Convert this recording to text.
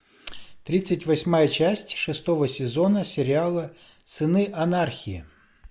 тридцать восьмая часть шестого сезона сериала сыны анархии